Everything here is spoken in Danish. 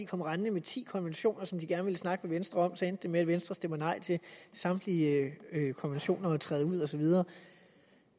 kom rendende med ti konventioner som de gerne ville snakke med venstre om så endte det med at venstre ville stemme nej til samtlige konventioner og til at træde ud og så videre